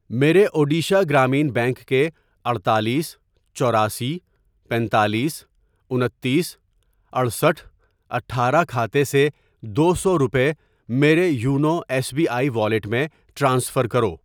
میرے اوڈیشہ گرامیہ بینک کے اڈتالیس ، چوراسی ، پنتالیس ، انتیس ، اٹھسٹھ ، اٹھارہ ، کھاتے سے دو سو روپے میرے YONO S B I wallet میں ٹرانسفر کرو